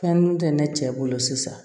Fɛn nun tɛ ne cɛ bolo sisan